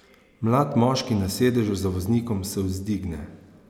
Mlad moški na sedežu za voznikom se vzdigne.